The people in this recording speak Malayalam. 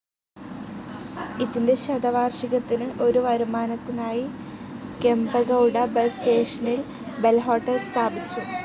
ഇതിന്റെ ശതവാർഷികത്തിന് ഒരു വരുമാനത്തിനായി കെംപെഗൌഡ ബസ് സ്റ്റേഷനിൽ ബെൽ ഹോട്ടൽ സ്ഥാപിച്ചു.